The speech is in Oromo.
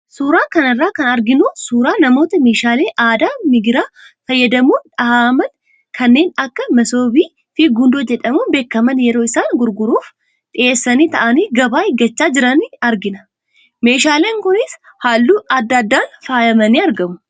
Suuraa kana irraa kan arginu suuraa namoota meeshaalee aadaa migira fayyadamuun dhahaman kanneen akka masoobii fi gundoo jedhamuun beekaman yeroo isaan gurguraaf dhiyeessanii taa'anii gabaa eeggachaa jiran argina. Meeshaaleen kunis halluu adda addaan faayamanii argamu.